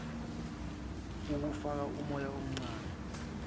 ukufaka umoya omncane